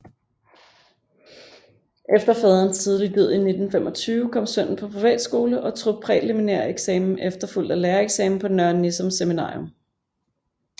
Efter faderens tidlige død i 1925 kom sønnen på privatskole og tog præliminæreksamen efterfulgt af lærereksamen på Nørre Nissum Seminarium